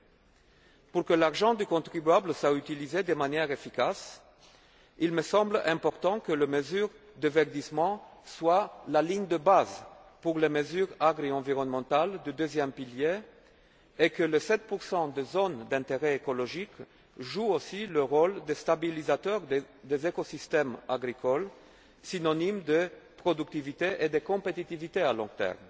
Afin que l'argent du contribuable soit utilisé de manière efficace, il me semble important que les mesures de verdissement soient la ligne de base pour les mesures agroenvironnementales du deuxième pilier et que 7 des zones d'intérêt écologique jouent aussi le rôle de stabilisateur des écosystèmes agricoles, synonyme de productivité et de compétitivité à long